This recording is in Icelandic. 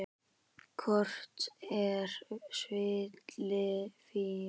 Kort er svili Fíu.